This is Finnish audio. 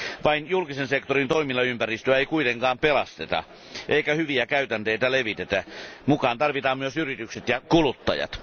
Vain julkisen sektorin toimilla ympäristöä ei kuitenkaan pelasteta eikä hyviä käytänteitä levitetä, vaan mukaan tarvitaan myös yritykset ja kuluttajat.